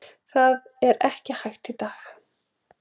Það er ekki hægt í dag.